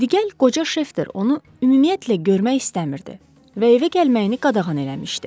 Diqel qoca Şeftir onu ümumiyyətlə görmək istəmirdi və evə gəlməyini qadağan eləmişdi.